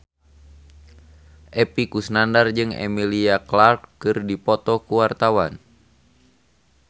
Epy Kusnandar jeung Emilia Clarke keur dipoto ku wartawan